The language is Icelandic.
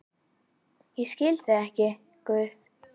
Ég skil þig ekki, Guð.